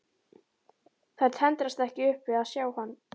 Þær tendrast ekki upp við að sjá hann.